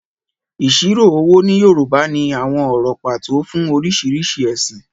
Ìṣirò owó ní Yorùbá ní àwọn ọ̀rọ̀ pàtó fún oríṣiríṣi ẹ̀sìn.